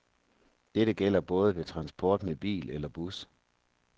Dette gælder både ved transport med bil eller bus.